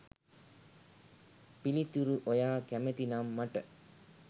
පිළිතුරු ඔයා කැමති නම් මට